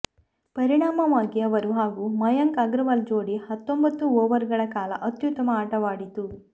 ಪರಿಣಾಮವಾಗಿ ಅವರು ಹಾಗೂ ಮಯಾಂಕ್ ಅಗರ್ವಾಲ್ ಜೋಡಿ ಹತ್ತೊಂಬತ್ತು ಓವರ್ ಗಳ ಕಾಲ ಅತ್ಯುತ್ತಮ ಆಟವಾಡಿತ್ತು